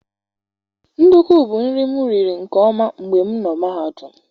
Ndukwu bu nri mụ riri nke ọma mgbe m nọ mahadum